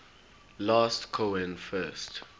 last cohen first